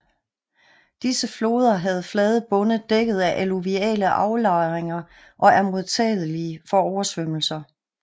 Disse floder har flade bunde dækket af alluviale aflejringer og er modtagelige for oversvømmelserer